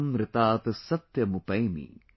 इदमहमनृतात सत्यमुपैमि ||